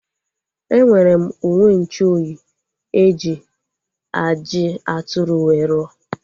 Enwere m uwenchuoyi eji ajị atụrụ wee ruo